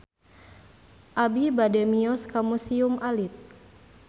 Abi bade mios ka Museum Alit